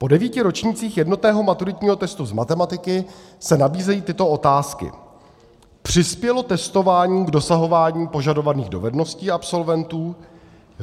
Po devíti ročnících jednotného maturitního testu z matematiky se nabízejí tyto otázky: Přispělo testování k dosahování požadovaných dovedností absolventů?